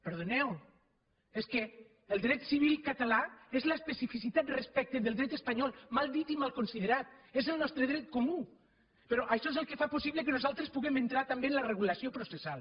perdoneu és que el dret civil català és l’especificitat respecte del dret espanyol mal dit i mal considerat és el nostre dret comú però això és el que fa possible que nosaltres puguem entrar també en la regulació processal